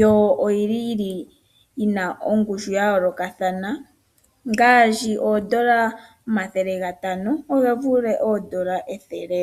Yo oyili yi na ongushu ya yolokathana ngashi ondola 500 oge vule ondola 100.